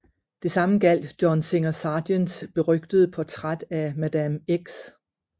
Det samme gjaldt John Singer Sargents berygtede Portræt af Madame X